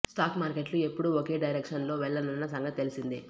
stock మార్కెట్లు ఎప్పుడూ ఒకే డైరెక్షన్ లో వెళ్లవన్న సంగతి తెలిసిందే